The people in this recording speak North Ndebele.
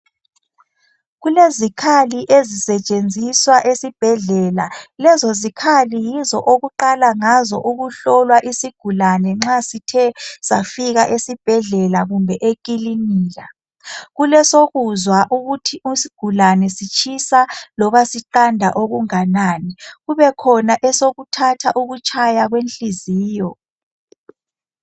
Kulezikhali ezisetshenziswa esibhedlela. Lezo zikhali yizo okuqala ngazo ukuhlolwa isigulane nxa sithe safika esibhedlela kumbe ekilinika kulesokuzwa ukuthi isigulane sitshisa loba siqanda okunganani. Kubekhona esokuthatha ukutshaya kwenhliziyo.